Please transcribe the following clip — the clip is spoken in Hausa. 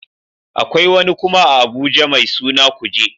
Akwai wani kuma a Abuja mai suna kuje